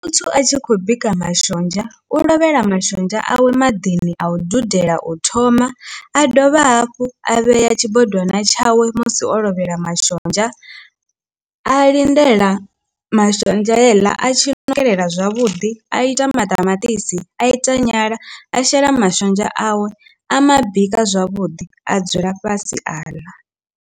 Muthu a tshi khou bika mashonzha u lovhela mashonzha awe maḓini a u dudela u thoma a dovha hafhu a vhea tshibodwana tshawe musi o lovhela mashonzha a lindela mashonzha heiḽa a tshila no fhelela zwavhuḓi, a ita maṱamaṱisi a ita nyala a shela mashonzha awe a mabika zwavhuḓi a dzula fhasi a ḽa.